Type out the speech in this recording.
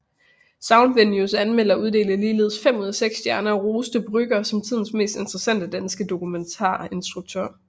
Soundvenues anmelder uddelte ligeledes fem ud af seks stjerner og roste Brügger som tidens mest interessante danske dokumentarinstruktør